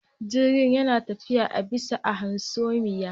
Jirgi yana tafiya a bisa a hasumiya